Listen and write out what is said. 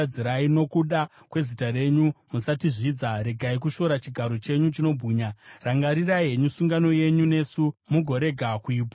Nokuda kwezita renyu, musatizvidza; regai kushora chigaro chenyu chinobwinya. Rangarirai henyu sungano yenyu nesu mugorega kuiputsa.